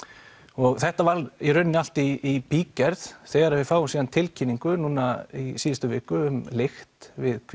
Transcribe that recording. og þetta var í rauninni allt í bígerð þegar við fáum svo tilkynningu núna í síðustu viku um lykt við